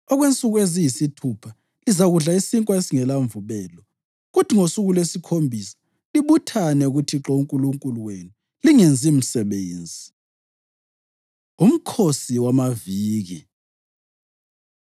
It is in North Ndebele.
Okwensuku eziyisithupha lizakudla isinkwa esingelamvubelo kuthi ngosuku lwesikhombisa libuthane kuThixo uNkulunkulu wenu lingenzi msebenzi.” UMkhosi WamaViki